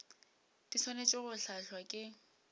di swanetše go hlahlwa ke